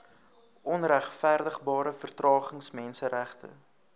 onregverdigbare vertragings menseregte